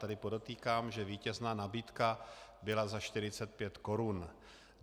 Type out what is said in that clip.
Tedy podotýkám, že vítězná nabídka byla za 45 korun.